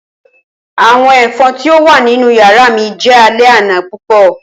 Awọn efon ti o wa ninu yara mi jẹ alẹ ana pupọ.